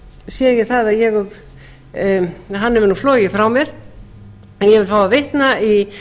að hann hefur nú flogið frá mér en ég vil fá að vitna í